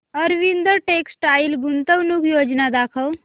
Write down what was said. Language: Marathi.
अरविंद टेक्स्टाइल गुंतवणूक योजना दाखव